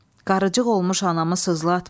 Qarıcıq olmuş anamı sızlatma.